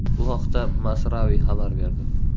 Bu haqda Masrawy xabar berdi.